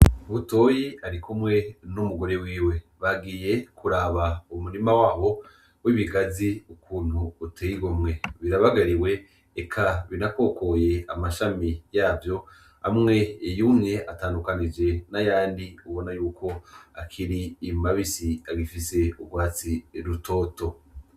Butoyi arikumwe n'umugore wiwe, bagiye kuraba umurima wabo w'ibigazi ukuntu uteye igomwe, biranaberewe, eka binakokoye amashami yavyo amwe yumye atandukanije n'ayandi ubona yuko akiri mabisi agifise ugwatsi rutoto.